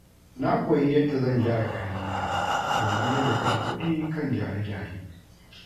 Na koyi yadda zan gyara kayan gida domin rage kashe kuɗi kan gyare-gyare.